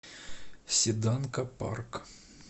седанка парк